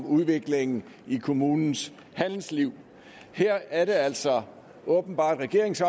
udviklingen i kommunens handelsliv her er det altså åbenbart regeringens